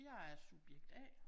Jeg er subjekt A